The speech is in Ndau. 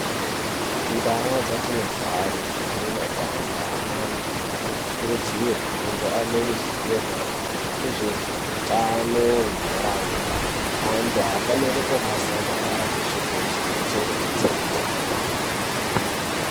Mundawo dzatinogare nemumaganga antu anokurudzirwe kunge aneruzivo mayererana ngezvehutano muntaraunda. Vantu havafaniri kurasa marara peshe peshe. Kuchengetedze hutano wedu.